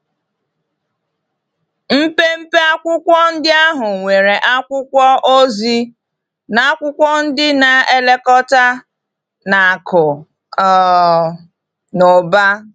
Mpempe akwụkwọ ndị ahụ nwere akwụkwọ ozi na akwụkwọ ndị na-elekọta na akụ um na ụba.